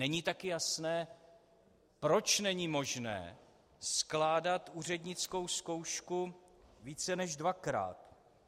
Není také jasné, proč není možné skládat úřednickou zkoušku více než dvakrát.